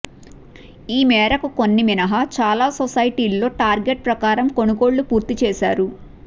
ఈ మేరకు కొన్ని మినహా చాలా సొసైటీల్లో టార్గెట్ ప్రకారం కొనుగోళ్లు పూర్తి చేశారు